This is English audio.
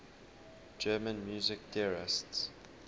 german music theorists